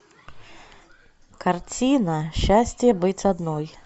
картина счастье быть одной